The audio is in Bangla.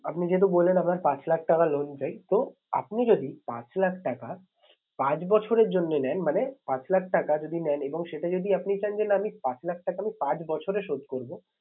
আপনি যেহেতু বললেন আপনার পাঁচ লাখ টাকা loan চাই। তো আপনি যদি পাঁচ লাখ টাকা পাঁচ বছরের জন্য নেন। মানে পাঁচ লাখ টাকা যদি নেন এবং সেটা যদি আপনি চান যে না আমি পাঁচ লাখ টাকা আমি পাঁচ বছরে শোধ করবো।